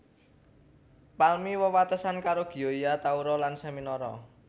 Palmi wewatesan karo Gioia Tauro lan Seminara